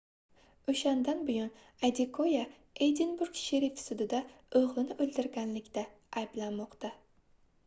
oʻshandan buyon adekoya edinburg sherif sudida oʻgʻlini oʻldirganlikda ayblanmoqda